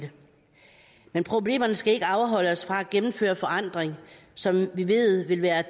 men problemerne skal ikke afholde os fra at gennemføre en forandring som vi ved vil være